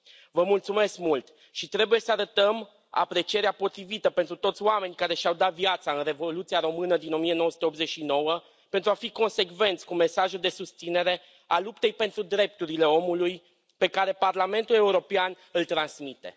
Vă mulțumesc mult și trebuie să arătăm aprecierea potrivită pentru toți oamenii care și au dat viața în Revoluția română din 1989, pentru a fi consecvenți cu mesajul de susținere a luptei pentru drepturile omului pe care Parlamentul European îl transmite.